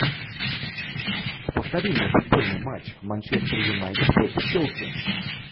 повтори мне футбольный матч манчестер юнайтед против челси